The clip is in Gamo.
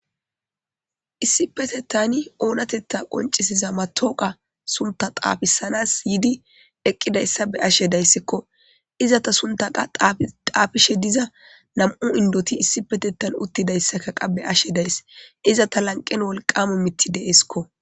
issipetetani oonateta qoncisiza matooqa sunta xaafisanas yidi eqqidayssa be ashe dayssikko izata sunta qa xaafishe diza nam'u indoti issipetettan uttidayssa kaqa be ashe days iza ta lanqen wolqamu miti deeskko